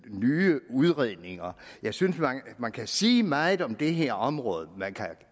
nye udredninger jeg synes man kan sige meget om det her område men man kan